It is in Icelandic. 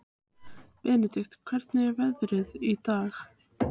Benedikt, hvernig er veðrið í dag?